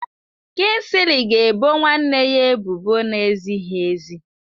Kingsley ga ebo nwanne ya ebubo na-ezighị ezi